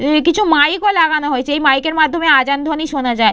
এই কিছু মাইক ও লাগানো হয়েছে এই মাইক এর মাধ্যমে আজান ধ্বনি শোনা যায়।